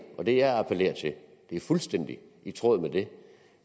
og det jeg appellerer til er fuldstændig i tråd med det